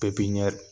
Pepiniyɛri